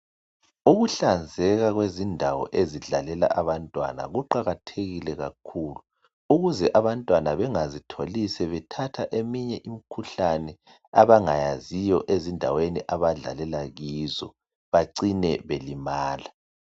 Ukuhlanzeka kwezindawo ezidlalela abantwana kuqakathekile kakhulu. Ukuze abantwana bengazitholi sebethatha eminye imikhuhlane abangayaziyo ezindaweni abadlalela kizo bacine belimala.